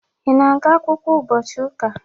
Ị na-aga akwụkwọ ụbọchị ụka?